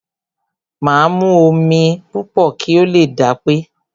Máa mu omi púpọ̀ kí o lè dápé.